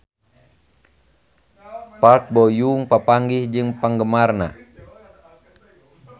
Park Bo Yung papanggih jeung penggemarna